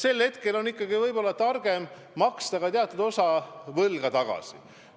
Sellisel ajal on ikkagi võib-olla targem maksta teatud osa võlga tagasi.